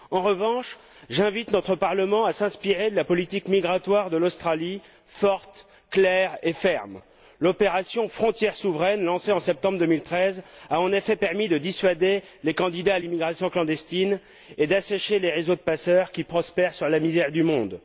En revanche, j'invite notre Parlement à s'inspirer de la politique migratoire de l'Australie forte, claire et ferme. L'opération Frontières souveraines, lancée en septembre 2013, a en effet permis de dissuader les candidats à l'immigration clandestine et d'assécher les réseaux de passeurs qui prospèrent sur la misère du monde.